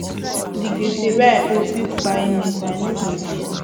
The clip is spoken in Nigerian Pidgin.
di gbese wey i owe fit kpai me but i no go gree am